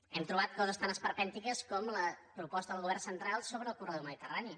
hem trobat coses tan esperpèntiques com la proposta del govern central sobre el corredor mediterrani